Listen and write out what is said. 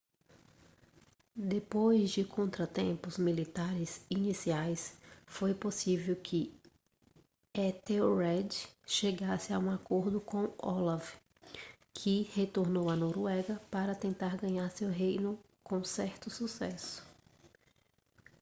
depois de contratempos militares iniciais foi possível que ethelred chegasse a um acordo com olaf que retornou à noruega para tentar ganhar seu reino com certo sucesso